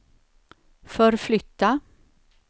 förflytta